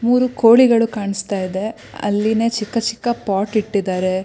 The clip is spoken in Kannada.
ಮೂರೂ ಕೋಳಿಗಳು ಕಾಣಿಸ್ತಾ ಇದೆ ಅಲ್ಲಿನ ಚಿಕ್ಕ ಚಿಕ್ಕ ಪಾಟ್ ಇಟ್ಟಿದ್ದಾರೆ.